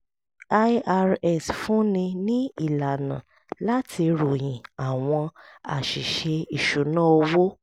irs fúnni ní ìlànà láti ròyìn àwọn àṣìṣe ìṣúnná owó